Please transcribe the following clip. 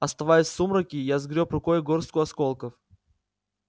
оставаясь в сумраке я сгрёб рукой горстку осколков